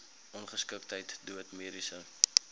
ongeskiktheid dood mediese